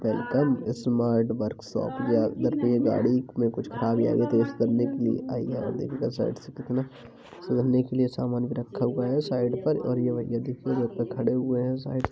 Welcome smart workshop या अंदर में ये गाड़ी में कुछ खराबी आ गयी थी साइड से कितना सुधरने के लिए सामान भी रखा हुआ है। साइड पर और यह भैया डिक्की के ऊपर खड़े हुए है साइड पर --